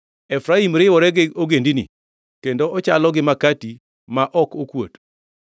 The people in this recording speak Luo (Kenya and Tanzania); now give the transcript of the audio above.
“Efraim riwore gi ogendini, kendo ochalo gi makati ma ok okuot.